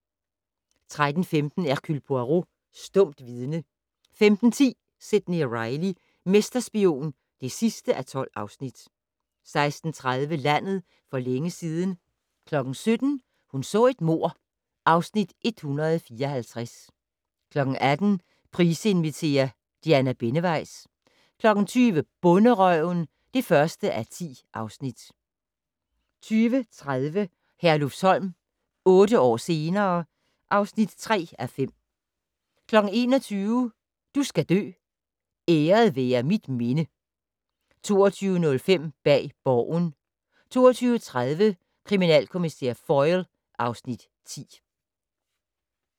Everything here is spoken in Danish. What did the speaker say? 13:15: Hercule Poirot: Stumt vidne 15:10: Sidney Reilly - mesterspion (12:12) 16:30: Landet for længe siden 17:00: Hun så et mord (Afs. 154) 18:00: Price inviterer - Diana Benneweis 20:00: Bonderøven (1:10) 20:30: Herlufsholm - otte år senere ... (3:5) 21:00: Du skal dø: Æret være mit minde 22:05: Bag Borgen 22:30: Kriminalkommissær Foyle (Afs. 10)